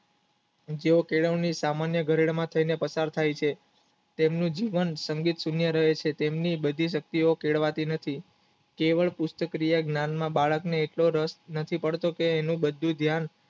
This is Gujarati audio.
જે કેળવણી સામાન્ય ઘરે પસાર થઈ છે તેમનું જીવન સંગીત સુન્ય રહે છે તેમની બધી શક્તિ ઓ કેળવાતી નથી કેવળ પુસ્તક ક્રિયા જ્ઞાન માં બાળકને એક દોઢ વર્ષ નથી કરતો તે